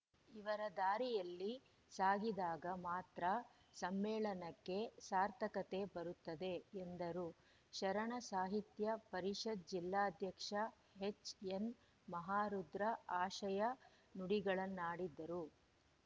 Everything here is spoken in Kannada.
ಇವರ ದಾರಿಯಲ್ಲಿ ಸಾಗಿದಾಗ ಮಾತ್ರ ಸಮ್ಮೇಳನಕ್ಕೆ ಸಾರ್ಥಕತೆ ಬರುತ್ತದೆ ಎಂದರು ಶರಣ ಸಾಹಿತ್ಯ ಪರಿಷತ್‌ ಜಿಲ್ಲಾಧ್ಯಕ್ಷ ಎಚ್‌ಎನ್‌ ಮಹಾರುದ್ರ ಆಶಯ ನುಡಿಗಳನ್ನಾಡಿದರು